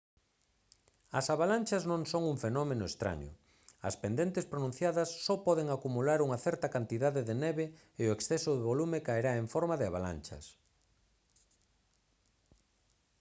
as avalanchas non son un fenómeno estraño as pendentes pronunciadas só poden acumular unha certa cantidade de neve e o exceso de volume caerá en forma de avalanchas